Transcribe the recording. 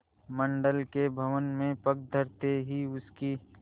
मंडल के भवन में पग धरते ही उसकी